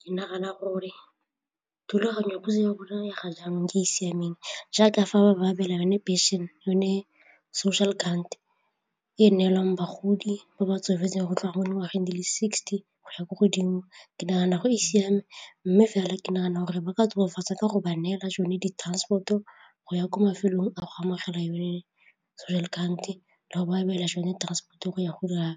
Ke nagana gore thulaganyo ya puso ya rona ya ga jang ke e e siameng jaaka fa ba ba abelana phenšene yone social grant e e neelwang bagodi ba ba tsofetseng go utlwa gore goreng di le sixty go ya ko godimo ke nagana go e siame mme fela ke nagana gore ba ka tokafatsa ka go ba neela tsone di-transport-o go ya ko mafelong a go amogela yone social grant-e la go ba beela tsone transport-o go ya go dira